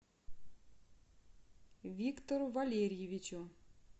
виктору валерьевичу